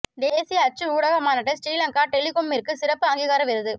தேசிய அச்சு ஊடக மாநாட்டில் ஸ்ரீலங்கா டெலிகொம்மிற்கு சிறப்பு அங்கீகார விருது